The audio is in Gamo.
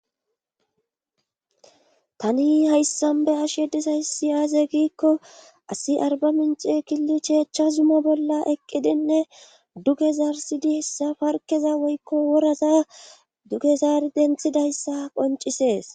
tani hayssan be'ashe disaysi aase giikko asi arba mince killi cheechcha zuma bolla eqqidinne duge zarsidi hessa parkeza woykko woraza duge zaari denthidayssa qoncisees